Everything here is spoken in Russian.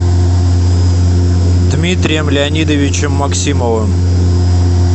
дмитрием леонидовичем максимовым